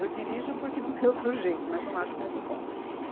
Eu dirijo porque não tem outro jeito, mas não acho muito bom.